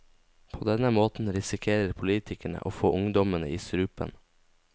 På denne måten risikerer politikerne å få ungdommene i strupen.